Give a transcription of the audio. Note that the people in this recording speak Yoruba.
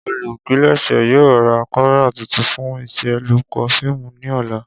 Olupilẹṣẹ yoo ra kamẹra tuntun fun iṣelọpọ fiimu ni ọla.